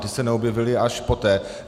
Ty se neobjevily až poté.